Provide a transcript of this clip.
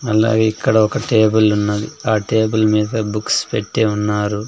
అలాగే ఇక్కడ ఒక టేబుల్ ఉన్నది ఆ టేబుల్ మీద బుక్స్ పెట్టి ఉన్నారు.